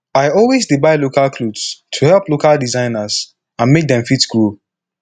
i always dey buy local clothes to help local designers and make them fit grow